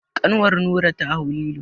Kanwar Nura ta hau lilo.